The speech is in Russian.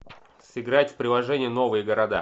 сыграть в приложение новые города